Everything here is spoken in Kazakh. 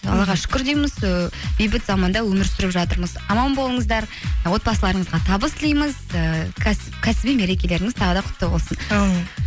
аллаға шүкір дейміз ііі бейбіт заманда өмір сүріп жатырмыз аман болыңыздар отбасыларыңызға табыс тілейміз ііі кәсіби мерекелеріңіз тағы да құтты болсын әумин